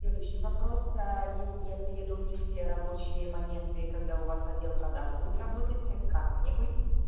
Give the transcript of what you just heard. следующий вопрос а если я приеду но не в все рабочие моменты когда у вас отдел продаж будет работать как мне быть